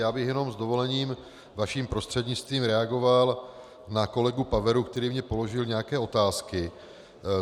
Já bych jenom s dovolením vaším prostřednictvím reagoval na kolegu Paveru, který mně položil nějaké otázky.